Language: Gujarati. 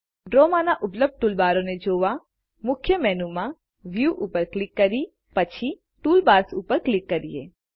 ડ્રોમાંના ઉપલબ્ધ ટૂલબારોને જોવામુખ્ય મેનુમાંના વ્યૂ ઉપર ક્લિક કરી પછી ટૂલબાર્સ ઉપર ક્લિક કરીએ